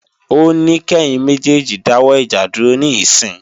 Ó ní kẹ́yin méjèèjì dáwọ́ ìjà dúró níìsín!